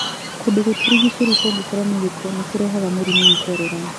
kũndũ gũtũrigicĩirie kũgĩkorwo na giko nĩ kũrehaga Mũrimũ wa korera.